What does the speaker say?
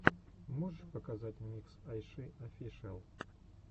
можешь показать микс айши офишиал